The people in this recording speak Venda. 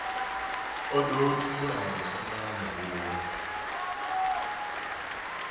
o ḓo tumbula musanda muhulu